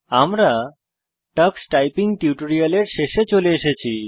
আমরা Tux typing টিউটোরিয়ালের শেষে চলে এসেছি